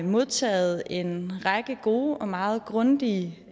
modtaget en række gode og meget grundige